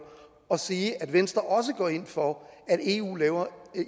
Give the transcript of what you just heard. og sige at venstre også går ind for at eu